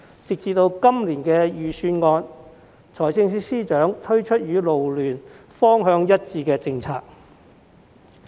直至今年預算案，司長終於推出與勞聯方向一致的政策。